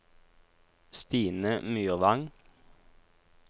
Stine Myrvang